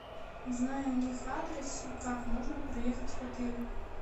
узнай у них адрес и как можно проехать в отель